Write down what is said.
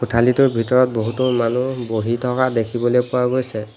কোঠালীটোৰ ভিতৰত বহুতো মানুহ বহি থকা দেখিবলৈ পোৱা গৈছে।